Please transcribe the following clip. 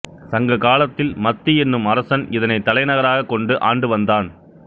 சங்ககாலத்தில் மத்தி என்னும் அரசன் இதனைத் தலைநகராகக் கொண்டு ஆண்டுவந்தான்